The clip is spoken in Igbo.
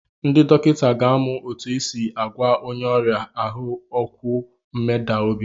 Ndị dọkịta ka amụ otu esi agwa onye n'aria ahụ okwu mmeda obi.